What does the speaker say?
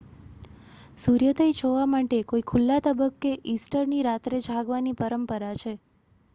સૂર્યોદય જોવા માટે કોઈ ખુલ્લા તબક્કે ઈસ્ટરની રાત્રે જાગવાની પરંપરા છે